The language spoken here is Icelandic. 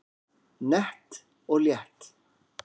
Nett og létt